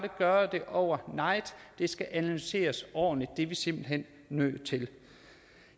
gøre det over night det skal analyseres ordentligt det er vi simpelt hen nødt til